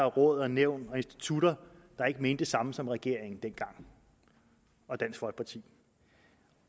råd nævn og institutter der ikke mente det samme som regeringen og dansk folkeparti